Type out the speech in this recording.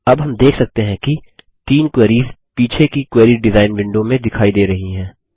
अब हम देख सकते हैं कि तीन क्वेरीस पीछे की क्वेरी डिज़ाइन विंडो में दिखाई दे रही हैं